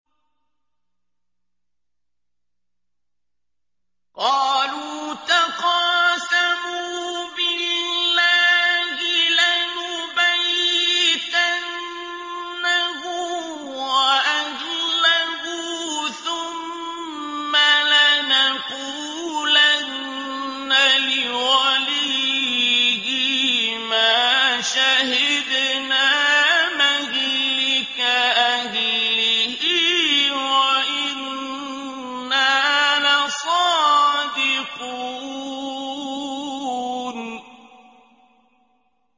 قَالُوا تَقَاسَمُوا بِاللَّهِ لَنُبَيِّتَنَّهُ وَأَهْلَهُ ثُمَّ لَنَقُولَنَّ لِوَلِيِّهِ مَا شَهِدْنَا مَهْلِكَ أَهْلِهِ وَإِنَّا لَصَادِقُونَ